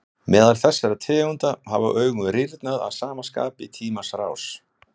Meðal þessara tegunda hafa augun rýrnað að sama skapi í tímans rás.